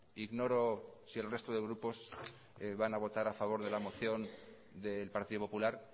ignoro si el resto de grupos van a votar a favor de la moción del partido popular